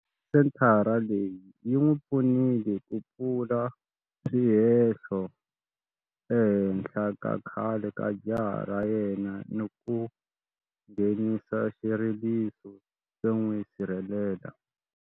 Senthara leyi yi n'wi pfunile ku pfula swihehlo ehenhla ka khale ka jaha ra yena ni ku nghenisa xileriso xo n'wi sirhelela.